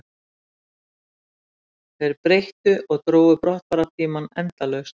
Þeir breyttu og drógu brottfarartímann endalaust